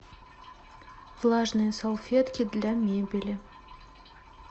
влажные салфетки для мебели